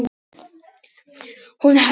Hún: Hann hitti.